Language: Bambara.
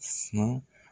Si